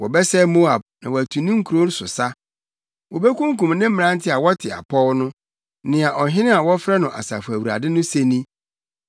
Wɔbɛsɛe Moab na wɔatu ne nkurow so sa; wobekunkum ne mmerante a wɔte apɔw no,” nea Ɔhene a wɔfrɛ no Asafo Awurade no se ni.